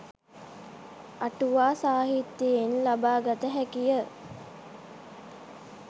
අටුවා සාහිත්‍යයෙන් ලබා ගත හැකිය.